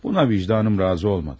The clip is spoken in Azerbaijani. Buna vicdanım razı olmadı.